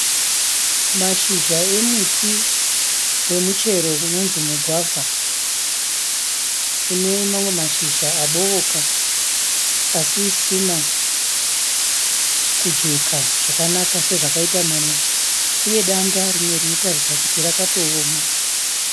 Mashizha emuti wemuchero unonzi mugwavha une mamwe mashizha abooka asisina kujeka zvakanaka sezvakaita mamwe uye danda rinoratidza kuti rakatooma.